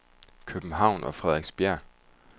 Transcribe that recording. København og Frederiksberg